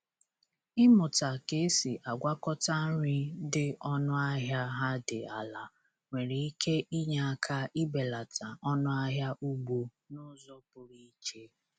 Ịmụta ka esi agwakọta nri dị ọnụ ahịa ha dị ala nwere ike inye aka ibelata ọnụ ahịa ugbo n’uzo pụrụ iche